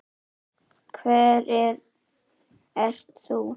Hver ert þú?